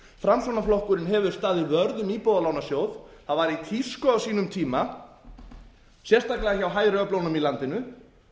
framsóknarflokkurinn hefur staðið vörð um íbúðalánasjóð það var í tísku á sínum tíma sérstaklega hjá hægri öflunum í landinu